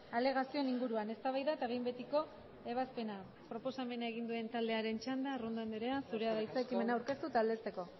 alegazioen inguruan eztabaida eta behin betiko ebazpena proposamena egin duen taldearen txanda arrondo andrea zurea da hitza ekimena aurkeztu eta aldezteko